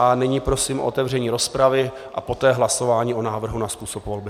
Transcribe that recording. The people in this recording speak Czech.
A nyní prosím o otevření rozpravy a poté hlasování o návrhu na způsob volby.